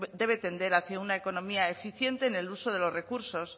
debe tender hacia una economía eficiente en el uso de los recursos